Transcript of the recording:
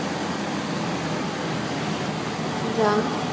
যা